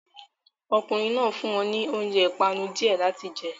Ọkùnrin náà fún wọn ní oúnjẹ ìpanu díẹ̀ láti jẹ